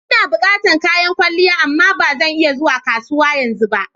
Ina bukatan kayan kwalliya amma ba zan iya zuwa kasuwa yanzu ba.